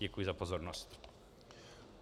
Děkuji za pozornost.